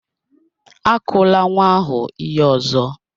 Akụla nwa ahụ ihe ọzọ!